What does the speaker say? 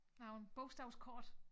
Der nogen bogstavskort